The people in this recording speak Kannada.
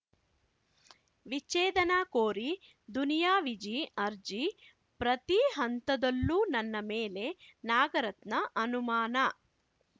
ವಿಚ್ಛೇದನ ಕೋರಿ ದುನಿಯಾ ವಿಜಿ ಅರ್ಜಿ ಪ್ರತಿ ಹಂತದಲ್ಲೂ ನನ್ನ ಮೇಲೆ ನಾಗರತ್ನ ಅನುಮಾನ